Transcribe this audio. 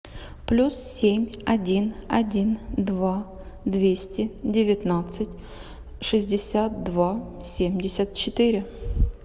плюс семь один один два двести девятнадцать шестьдесят два семьдесят четыре